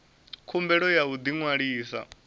khumbelo ya u ḓi ṅwalisa